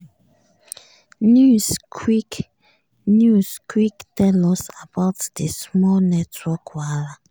news quick news quick tell us about di small network wahala.